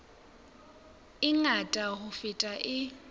e ngata ho feta e